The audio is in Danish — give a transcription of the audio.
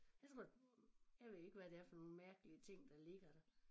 Jeg tror det jeg ved ikke hvad det er for nogle mærkelige ting der ligger der